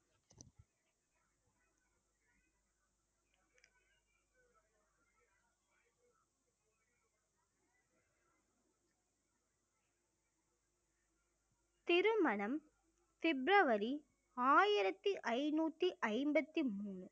திருமணம் பிப்ரவரி ஆயிரத்தி ஐந்நூத்தி ஐம்பத்தி மூணு